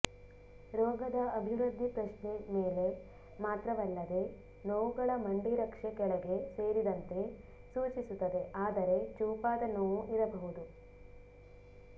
ರೋಗದ ಅಭಿವೃದ್ಧಿ ಪ್ರಶ್ನೆ ಮೇಲೆ ಮಾತ್ರವಲ್ಲದೆ ನೋವುಗಳ ಮಂಡಿರಕ್ಷೆ ಕೆಳಗೆ ಸೇರಿದಂತೆ ಸೂಚಿಸುತ್ತದೆ ಆದರೆ ಚೂಪಾದ ನೋವು ಇರಬಹುದು